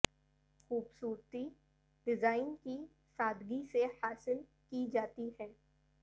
خوبصورتی ڈیزائن کی سادگی سے حاصل کی جاتی ہے